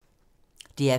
DR P2